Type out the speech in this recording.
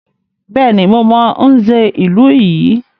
Bẹ́ẹ̀ni, mo mọ Nze ìlú yìí.